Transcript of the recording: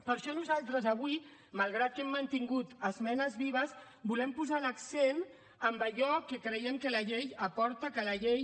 per això nosaltres avui malgrat que hem mantingut esmenes vives volem posar l’accent en allò que creiem que la llei aporta que la llei